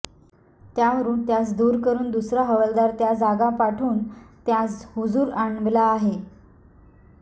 त्यावरून त्यांस दूर करून दुसरा हवालदार त्या जागां पाठवून त्यास हुजूर आणविला आहे